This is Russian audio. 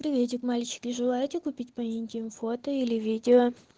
приветик мальчики желаете купить по интим фото или видео